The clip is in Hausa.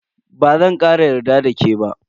Bazan kara yarda da ke ba.